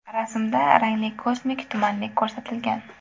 Rasmda rangli kosmik tumanlik ko‘rsatilgan.